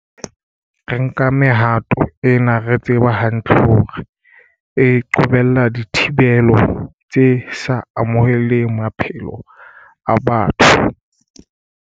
Re nka mehato ena re tseba hantle hore e qobella dithibelo tse sa amohelehang maphelong a batho.